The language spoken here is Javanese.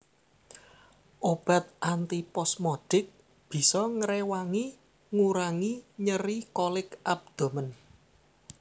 Obat antiposmodik bisa ngréwangi ngurangi nyeri kolik abdomen